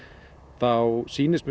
þá sýnist mér